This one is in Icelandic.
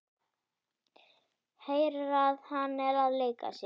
Heyrir að hann er að leika sér.